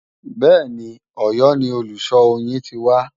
Bẹ́ẹ̀ni, Òyọ́ ni olùṣọ́ oyin ti wá